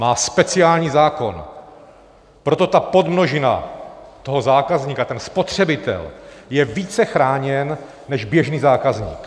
Má speciální zákon, proto ta podmnožina toho zákazníka, ten spotřebitel, je více chráněn než běžný zákazník.